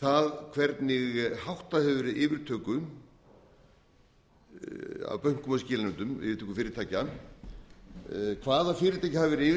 það hvernig háttað hefur verið yfirtöku fyrirtækja af bönkum og skilanefndum hvaða fyrirtæki hafa verið yfirtekin